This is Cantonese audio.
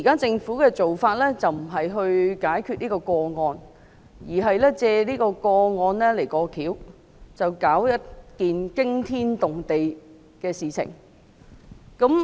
政府現時的做法，並非旨在解決這宗個案，而是藉這宗個案"過橋"，發起一件驚天動地的事情。